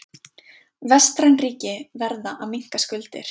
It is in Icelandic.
Vestræn ríki verða að minnka skuldir